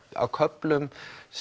á köflum